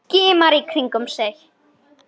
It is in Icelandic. Skimar í kringum sig.